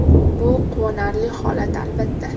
Bu quvonarli holat albatta.